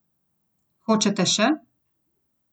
Hočete še?